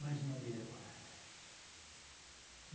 Mais uma dele agora.